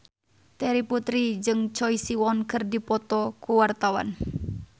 Terry Putri jeung Choi Siwon keur dipoto ku wartawan